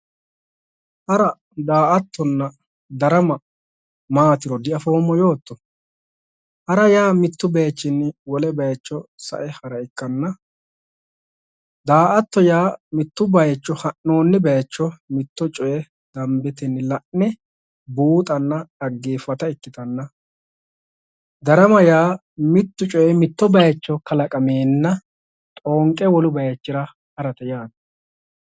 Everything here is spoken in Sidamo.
Hara, daa"attonna darama maatiro diafoommo yootto, ha'ra yaa mitu bayichinni wole sae hara ikkanna ,daa"atto yaa mitto ha'nooni bayicho mitto coye danbetenni la'ne buuxanna dhaggeefatta shotta ikkittanna darama yaa mitu coyi mitto bayicho kalaqamenna xoonqe wolu bayichira ha'rate yaate.